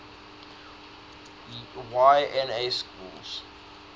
y na schools